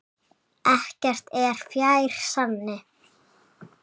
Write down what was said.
Ekkert er fjær sanni.